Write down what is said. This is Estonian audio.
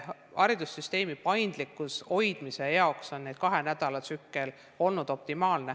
Haridussüsteemi paindlikkuse hoidmise jaoks on kahenädalane tsükkel olnud optimaalne.